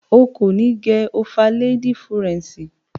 O kò ní gẹ ofaléédí furẹ̀ǹṣì.